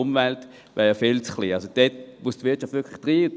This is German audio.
Die Wirtschaft muss unbedingt dabei sein.